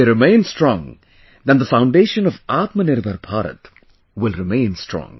If they remain strong then the foundation of Atmanirbhar Bharat will remain strong